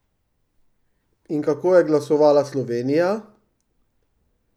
In kako je glasovala Slovenija?